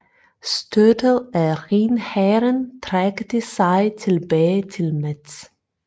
Støttet af Rhinhæren trak de sig tilbage til Metz